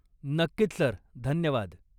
नक्कीच सर, धन्यवाद.